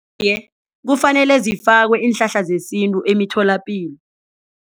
Iye, kufanelwe zifakwe iinhlahla zesintu emitholapilo.